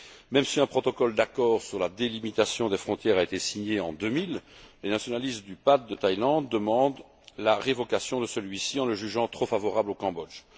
Même si un protocole d'accord sur la délimitation des frontières a été signé en 2000, les nationalistes de la PAD de Thaïlande demandent la révocation de celui ci en le jugeant trop favorable au Cambodge.